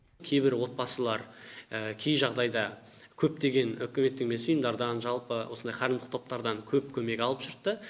кейбір отбасылар кей жағыдайда көптеген үкіметтік емес ұйымдардан жалпы осындай қайырымдылық топтардан көп көмек алып жүрді да